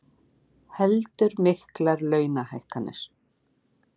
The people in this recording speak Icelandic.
Heldur miklar launahækkanir